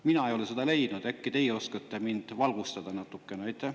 Mina ei ole seda leidnud, äkki teie oskate mind natukene valgustada.